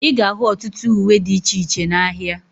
Ịga ahu ọtụtụ uwe dị iche iche n'ahia